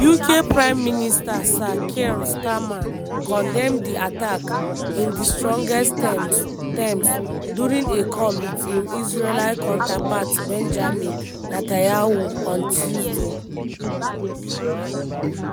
uk prime minister sir keir starmer condemn di attack "in di strongest terms" terms" during a call wit im israeli counterpart benjamin netanyahu on tuesday.